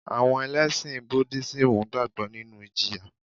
Àwọn Ẹlẹ́sìn Budísímù gbàgbọ́ nínu ìjìyà